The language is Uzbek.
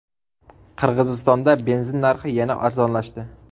Qirg‘izistonda benzin narxi yana arzonlashdi.